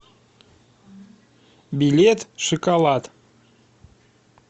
билет шиколад